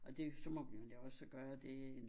Og det så må vi jo endda også gøre det